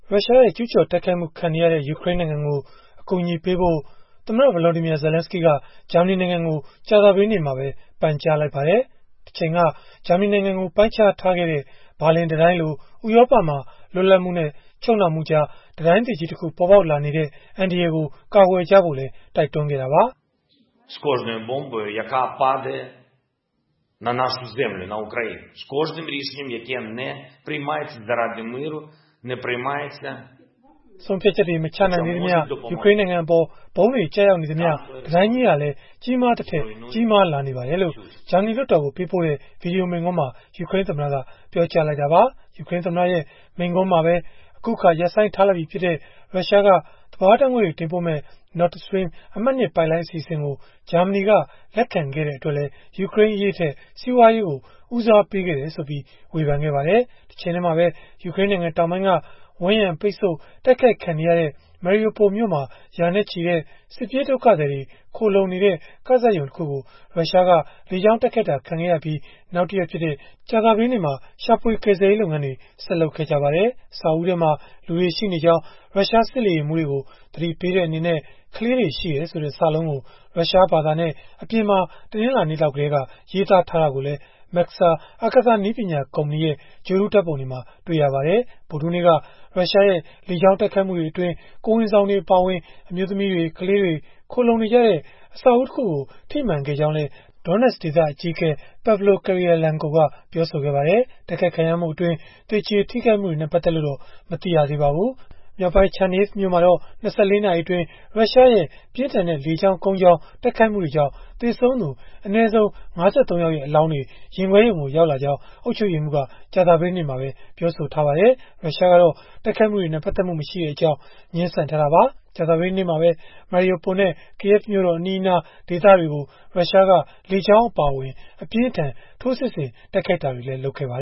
ရုရှားရဲ့ ကျုးကျော်တိုက်ခိုက်မှု ခံနေရတဲ့ ယူကရိန်းနိုင်ငံကို အကူအညီပေးဖို့ သမ္မတ Volodymyr Zelenskyy က ဂျာမနီနိုင်ငံကို ကြာသပတေးနေ့မှာပဲ ပန်ကြားလိုက်ပါတယ်။ တချိန်က ဂျာမနီနိုင်ငံကို ပိုင်းခြားထားခဲ့တဲ့ ဘာလင်တံတိုင်းလို ဥရောပမှာ လွတ်လပ်မှုနဲ့ ချုပ်နှောင်မှုကြား တံတိုင်းသစ်ကြီးတခု ပေါ်ပေါက်လာနေတဲ့ အန္တရာယ်ကို ကာကွယ်ဖို့လည်း တိုက်တွန်းခဲ့တာပါ။ “ဆုံးဖြတ်ချက်တွေ မချနိုင်သေးသမျှ ယူကရိန်းနိုင်ငံအပေါ် ဗုံးတွေကျရောက်နေသမျှ တံတိုင်းကြီးဟာလည်း ကြီးမားသထက် ကြီးမားလာနေပါတယ်။” လို့ ဂျာမနီလွှတ်တော်ကို ပေးပို့တဲ့ ဗွီဒီယိုမိန့်ခွန်းမှာ ယူကရိန်းသမ္မတက ပြောကြားလိုက်တာပါ။ ယူကရိန်းသမ္မတရဲ့ မိန့်ခွန်းမှာပဲ အခုအခါ ရပ်ဆိုင်းထားလိုက်ပြီဖြစ်တဲ့ ရုရှားက သဘာဝဓာတ်ငွေ့တွေ တင်ပို့မယ့် Nord Stream အမှတ်-၂ ပိုက်လိုင်း အစီအစဉ်ကို ဂျာမနီက လက်ခံခဲ့တဲ့အတွက်လည်း ယူကရိန်းအရေးထက် စီးပွားရေးကို ဦးစားပေးခဲ့တယ်ဆိုပြီး ဝေဖန်ခဲ့ပါတယ်။ တချိန်တည်းမှာပဲ ယူကရိန်းနိုင်ငံ တောင်ပိုင်းက ဝန်းရံပိတ်ဆို့တိုက်ခိုက်ခံနေရတဲ့ Mariupol မြို့မှာ ရာနဲ့ချီတဲ့ စစ်ပြေးဒုက္ခသည်တွေ ခိုလှုံနေတဲ့ ကဇာတ်ရုံတခုကို ရုရှားက လေကြောင်းတိုက်ခိုက်ခံခဲ့ရပြီး နောက်တရက်ဖြစ်တဲ့ ကြာသပတေးနေ့မှာ ရှာဖွေကယ်ဆယ်ရေး လုပ်ငန်းတွေ ဆက်လုပ်ခဲ့ကြပါတယ်။ အဆောက်အဦးထဲမှာ လူတွေရှိနေကြောင်း ရုရှားစစ်လေယာဉ်မှူးတွေကို သတိပေးတဲ့ အနေနဲ့ ကလေးတွေရှိတယ်ဆိုတဲ့ စာလုံးကို ရုရှားဘာသာနဲ့ အပြင်ဖက်မှာ တနင်္လာနေ့လောက်ကတည်းက ရေးသားထားတာကိုလည်း Maxar အာကာသနည်းပညာ ကုမ္ပဏီရဲ့ ဂြိုဟ်တုဓာတ်ပုံတွေမှာ တွေ့ရပါတယ်။ ဗုဒ္ဓဟူးနေ့က ရုရှားရဲ့ လေကြောင်းတိုက်ခိုက်မှုတွေအတွင်း ကိုယ်ဝန်ဆောင်တွေ အပါအဝင် အမျိုးသမီးတွေ၊ ကလေးတွေ ခိုလှုံနေကြတဲ့ အဆောက်အဦးတခုကို ထိမှန်ခဲ့ကြောင်းလည်း Donetsk ဒေသ အကြီးအကဲ Pavlo Kyrylenko ကပြောပါတယ်။ တိုက်ခိုက်ခံရမှုအတွင်း သေကျေထိခိုက်မှုတွေနဲ့ ပတ်သက်လို့တော့ မသိရပါဘူး။ မြောက်ပိုင်း Chernihiv မြို့မှာတော့ ၂၄ နာရီအတွင်း ရုရှားရဲ့ ပြင်းထန်တဲ့ လေကြောင်း၊ ကုန်းကြောင်း တိုက်ခိုက်မှုတွေကြောင့် သေဆုံးသူ အနည်းဆုံး ၅၃ ယောက်ရဲ့ အလောင်းတွေ ရင်ခွဲရုံကို ရောက်ရှိလာကြောင်း အုပ်ချုပ်ရေးမှူးက ကြာသပတေးနေ့မှာပဲ ပြောဆိုခဲ့ပါတယ်။ ရုရှားကတော့ တိုက်ခိုက်မှုတွေနဲ့ ပတ်သက်မှုမရှိကြောင်း ငြင်းဆန်ထားတာပါ။ ကြာသပတေးနေ့မှာပဲ Mariupol နဲ့ Kyiv မြို့တော်အနီးအနား ဒေသတွေကို ရုရှားက လေကြောင်းအပါအဝင် အပြင်းအထန် ထိုးစစ်ဆင် တိုက်ခိုက်တာတွေ ဆက်လုပ်ခဲ့ပါ